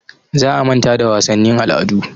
Za a manta da wasannin al'adu.